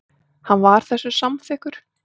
Hann var þessu samþykkur.